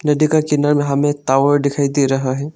नदी का किनार मे हमें टावर दिखाई दे रहा है।